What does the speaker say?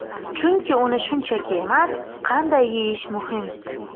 Chunki uni shunchaki emas, qanday yeyish muhim.